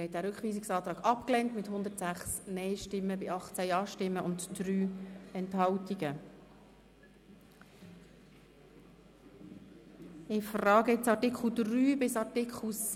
Abstimmung (Art. 3 Abs. 2 und Abs. 3 [neu]; Antrag Machado Rebmann, Bern[GaP])